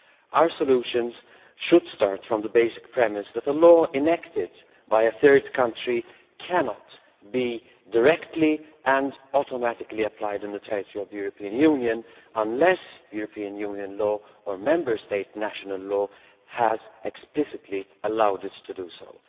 Our solutions should start from the basic premise that a law enacted by a third country cannot be directly and automatically applied in the territory of the European Union unless EU law or Member State national law has explicitly allowed it to be so.